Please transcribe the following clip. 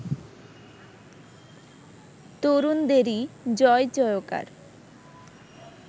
তরুণদেরই জয়-জয়কার